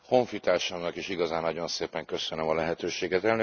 Honfitársamnak is igazán nagyon szépen köszönöm a lehetőséget.